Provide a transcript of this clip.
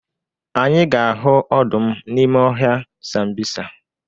Anyị ga-ahụ ọdụm n'ime ọhịa Sambisa.